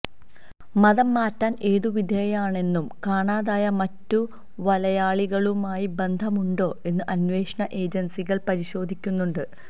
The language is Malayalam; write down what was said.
മതം മാറ്റൽ ഏതു വിധേനയാണെന്നും കാണാതായ മറ്റു വലയാളികളുമായി ബന്ധമുണ്ടോ എന്നും അന്വേഷണ ഏജൻസികൾ പരിശോധിക്കുന്നുണ്ട്